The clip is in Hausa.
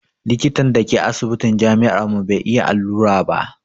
Likitan da ke asibitin jami'ar mu bai iya allura ba